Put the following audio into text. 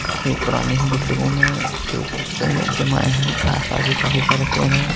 काफी पुराने ही बिल्डिंगों में के ऊपर पेड़ जमाए हैं आस पास भी काफी सारे पेड़ हैं।